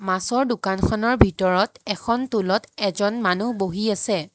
মাছৰ দোকানখনৰ ভিতৰত এখন তুলত এজন মানুহ বহি আছে।